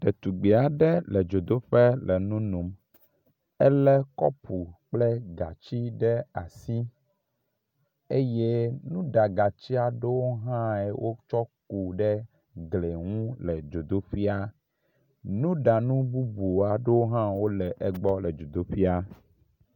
Ɖetugbi aɖe le dzodoƒe le nu nom. Elé kɔpu kple gati ɖe asi eye nuɖagati aɖewo hã wotsɔ ku ɖe gli ŋu le dzodoƒea, nuɖanu bubuwo hã le egbɔ le dzodoƒia.